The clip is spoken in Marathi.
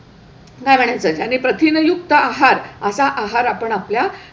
घालायचंय आणि प्रथिनयुक्त आहार असा आहार आपण आपल्या,